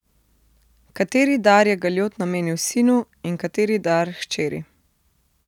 Kateri dar je galjot namenil sinu in kateri dar hčeri?